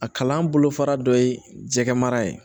A kalan bolofara dɔ ye jɛgɛmara ye